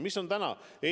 Mis seis on täna?